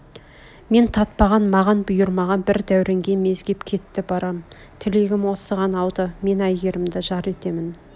мен татпаған маған бұйырмаған бір дәуренге мезгеп кетті барам тілегім осыған ауды мен айгерімді жар етемін